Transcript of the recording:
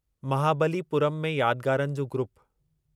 महाबलीपुरम में यादगारनि जो ग्रुप